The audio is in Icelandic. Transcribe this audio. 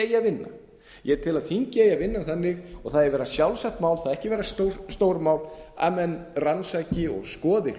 að vinna ég tel að þingið eigi að vinna þannig og það eigi að vera sjálfsagt mál ekki vera stórmál að menn rannsaki og skoði